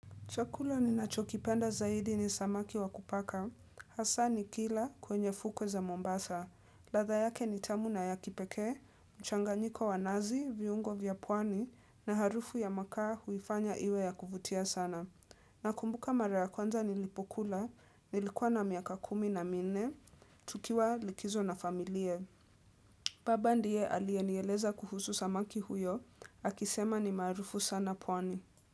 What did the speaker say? Chakula ni nachokipenda zaidi ni samaki wa kupaka. Hasaa ni kila kwenye fukwe za Mombasa. Latha yake ni tamu na ya kipekee, mchanganyiko wa nazi, viungo vya pwani na harufu ya makaa huifanya iwe ya kuvutia sana. Nakumbuka mara ya kwanza nilipokula, nilikuwa na miaka kumi na minne, tukiwa likizo na familia Baba ndiye alie nieleza kuhusu samaki huyo, akisema ni maarufu sana pwani.